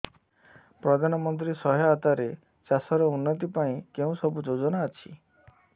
ପ୍ରଧାନମନ୍ତ୍ରୀ ସହାୟତା ରେ ଚାଷ ର ଉନ୍ନତି ପାଇଁ କେଉଁ ସବୁ ଯୋଜନା ଅଛି